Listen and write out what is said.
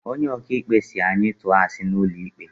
Onye ok'ikpe si anyi tuo asi n'ulo ikpe